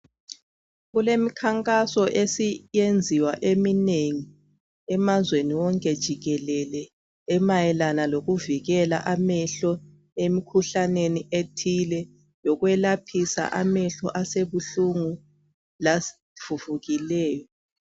Kuleminkhankaso esiyenziwa eminengi, amazweni wonke jikelele, amayelana lokuvikela amehlo emikhuhlaneni ethile, lokwelaphisa amehlo asebulungu, lavuvukileyo.